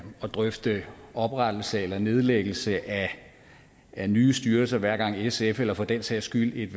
drøfte oprettelse eller nedlæggelse af nye styrelser hver gang sf eller for den sags skyld et